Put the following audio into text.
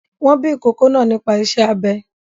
Wọn bí ìkókó náa nípa iṣẹ́ abẹ.